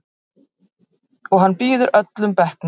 Og hann býður öllum bekknum.